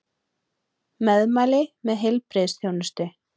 Meðmæli með heilbrigðisþjónustu